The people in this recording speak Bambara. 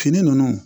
Fini nunnu